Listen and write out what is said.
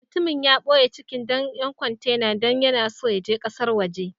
Mutumin ya boye cikin dayan kwantenan dan yana so ya je kasan woje.